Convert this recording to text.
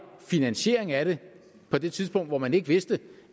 finansieringen af det på det tidspunkt hvor man ikke vidste